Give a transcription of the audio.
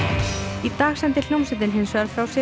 í dag sendi hljómsveitin hins vegar frá sér